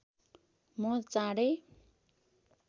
म चाँडै